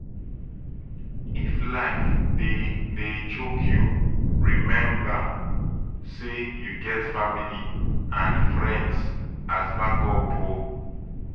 if life dey dey choke you remmba sey yu get family and friends as backup o